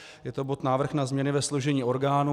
Je to bod Návrh na změny ve složení orgánů.